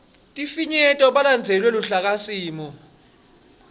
sifinyeto balandzele luhlakasimo